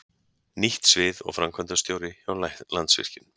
Nýtt svið og framkvæmdastjóri hjá Landsvirkjun